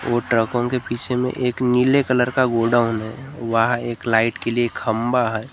और ट्रकों के पीछे में एक नीले कलर का गोडाउन है वहां एक लाइट के लिए खंबा है।